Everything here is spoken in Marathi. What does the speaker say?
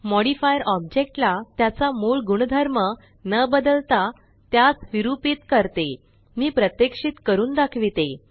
मॉडिफायर ओब्जेक्टला त्याचा मूळ गुणधर्म न बदलता त्यास विरुपीत करतेमी प्रात्यक्षित करून दाखविते